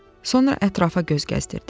Sonra ətrafa göz gəzdirdi.